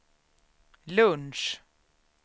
lunch